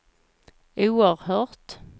oerhört